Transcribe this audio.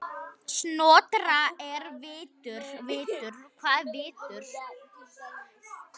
Snotra er vitur